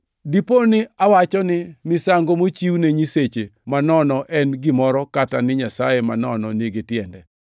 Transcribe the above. Diponi awacho ni misango mochiwne nyiseche manono en gimoro kata ni nyasaye manono nigi tiende?